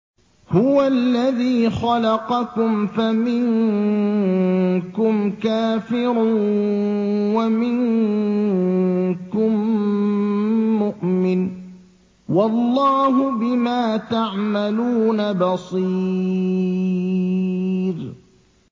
هُوَ الَّذِي خَلَقَكُمْ فَمِنكُمْ كَافِرٌ وَمِنكُم مُّؤْمِنٌ ۚ وَاللَّهُ بِمَا تَعْمَلُونَ بَصِيرٌ